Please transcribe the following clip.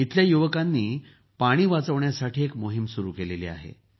इथल्या युवकांनी पाणी वाचवण्यासाठी एक मोहीम सुरू केली आहे